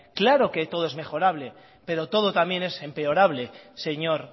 claro que todo es mejorable pero todo también es empeorable señor